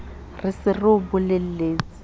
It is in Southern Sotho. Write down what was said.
re se re o bolelletse